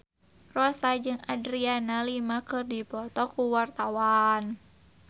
Rossa jeung Adriana Lima keur dipoto ku wartawan